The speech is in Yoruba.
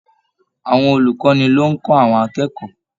Àwọn olukọni ló n kọ àwọn akẹ́kọ̀ọ́.